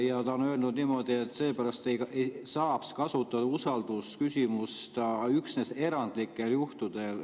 Ja ta on öelnud niimoodi, et seepärast saaks kasutada usaldusküsimust üksnes erandlikel juhtudel.